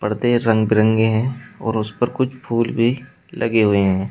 पर्दे रंग बिरंगे हैं और उस पर कुछ फूल भी लगे हुए हैं।